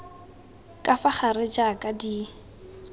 ka fa gare jaaka di